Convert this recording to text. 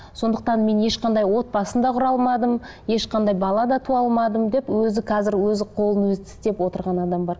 сондықтан мен ешқандай отбасын да құра алмадым ешқандай бала да туа алмадым деп өзі қазір өзі қолын өзі тістеп отырған адам бар